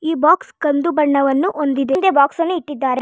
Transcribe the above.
ಈ ಬಾಕ್ಸ್ ಕಂದು ಬಣ್ಣವನ್ನು ಹೊಂದಿದೆ ಹಿಂದೆ ಬಾಕ್ಸ್ ಅನ್ನು ಇಟ್ಟಿದ್ದಾರೆ.